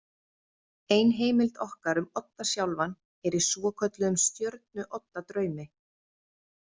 Eina heimild okkar um Odda sjálfan er í svokölluðum Stjörnu-Odda draumi.